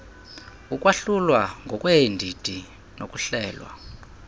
ukwahlulwa ngokweendidi nokuhlelwa